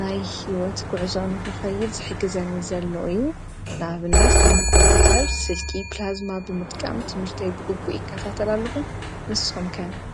ናይ ህይወት ጉዕዞ ንኽኸይድ ዝሕግዘኒ ዘሎ እዩ ንኣብነት ከም ኮምፕዩተር ስልኪ ፕላዝማ ብምጥቃም ትምህርተይ ብግቡእ ይከታተል ኣለኹ ንስኹም ከ?